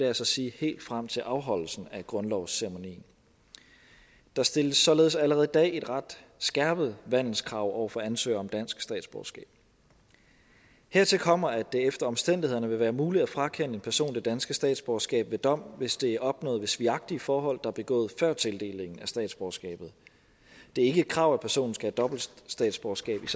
altså sige helt frem til afholdelsen af grundlovsceremonien der stilles således allerede i dag et ret skærpet vandelskrav over for ansøgere til dansk statsborgerskab hertil kommer at det efter omstændighederne vil være muligt at frakende en person det danske statsborgerskab ved dom hvis det er opnået ved svigagtige forhold er begået før tildelingen af statsborgerskabet det er ikke et krav at personen skal have dobbelt statsborgerskab